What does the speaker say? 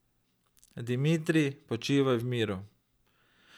Dimitrij, počivaj v miru ...